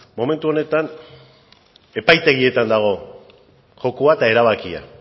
momentu honetan epaitegietan dago jokoa eta erabakia